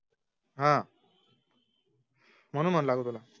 ह म्हणून मनला का तूला